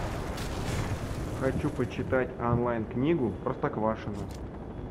хочу почитать онлайн книгу простоквашино